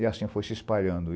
E assim foi se espalhando.